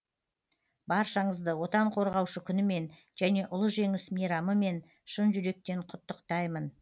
баршаңызды отан қорғаушы күнімен және ұлы жеңіс мейрамымен шын жүректен құттықтаймын